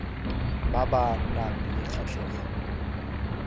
ba ba nang le kgatlhego